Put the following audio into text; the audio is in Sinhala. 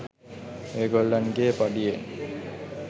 ඒගොල්ලන්ගෙ පඩියෙන්